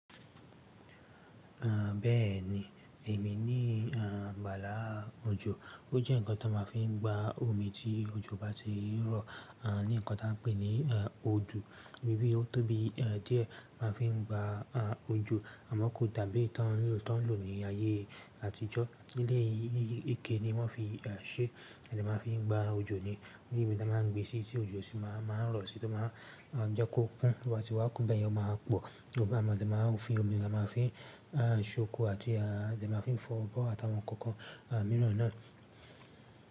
Àn bẹ́ẹ̀ni, èmi ní àn bàlaa òjò. Ó jẹ́ nǹkan tí wọ́n máa fi ń gba omi tí òjò bá ti ń rọ̀. Àn ní nǹkan tí a n pè ní àn odò. Ibi ó tó bí à díẹ̀, a máa n fi gba à òjò. Àmọ́ kò dàbí tí wọ́n ń lò ní ayé àtijọ́. Eléyìí ike ní wọ́n fi ṣe, a dẹ̀ máa fi ń gba òjò ni onibi tí a máa n gbé síi tí òjò sì máa n rọ̀ sí, tí ó máa n jẹ́ kó kún. Tó bá tí wá kún, bẹyẹn ó máa pò. Nígbà mi a dẹ̀ máa fi ń omi, a máa fin ṣe oko àti ama fi ń fọ abọ́ àti àwọn nǹkan kan mìràn náà.